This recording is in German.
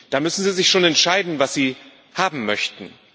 Da müssen Sie sich schon entscheiden, was Sie haben möchten.